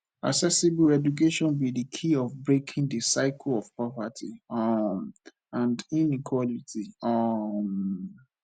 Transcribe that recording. accessible education be di key of breaking di cycle of poverty um and inequality um